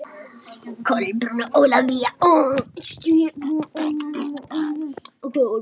Kolbrún og Ólafía.